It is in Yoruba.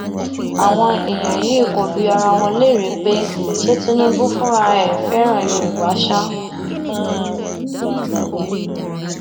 àwọn èèyàn yìí kò bi ara wọn léèrè pé ṣé tinubu fúnra ẹ fẹràn yorùbá sá